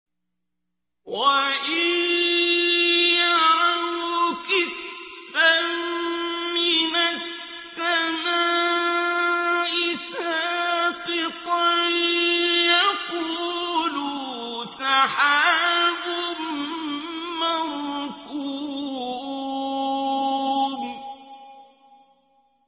وَإِن يَرَوْا كِسْفًا مِّنَ السَّمَاءِ سَاقِطًا يَقُولُوا سَحَابٌ مَّرْكُومٌ